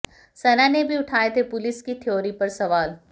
सना ने भी उठाए थे पुलिस की थ्योरी पर सवाल